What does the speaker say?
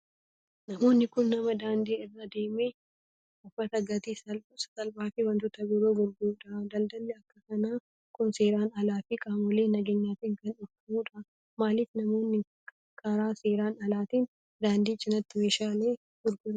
Namni kun, nama daandii irra deemee uffataa gatii sasalphaa fi wantoota biroo gurguruu dha. Daldalli akka kanaa kun, seeran alaa fi qaamolee nageenyaatin kan dhorkamuu dha. Maalif namoonni karaa seeraan alaatiin daandii cinaatti meeshaalee gurguru?